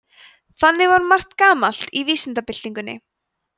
þannig var margt gamalt í vísindabyltingunni